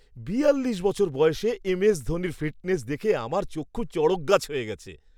বিয়াল্লিশ বছর বয়সে এমএস ধোনির ফিটনেস দেখে আমার চক্ষু চড়কগাছ হয়ে গেছে!